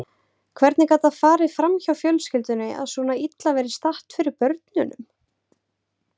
Hvernig gat það farið fram hjá fjölskyldunni að svona illa væri statt fyrir börnunum?